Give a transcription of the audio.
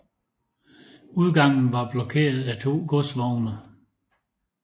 Udgangen var blokeret af to godsvogne